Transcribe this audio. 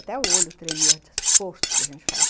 Até o olho tremia de esforço que a gente fazia.